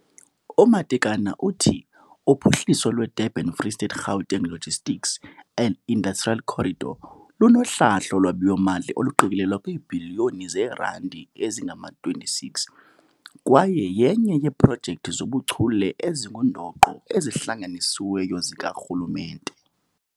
UMatekane uthi uphuhliso lweDurban-Free State-Gauteng Logistics and Industrial Corridor lunohlahlo lwabiwo-mali oluqikelelwa kwiibhiliyoni zeerandi ezingama-26 kwaye yenye yeeprojekthi zobuchule ezingundoqo ezihlanganisiweyo zikarhulumente.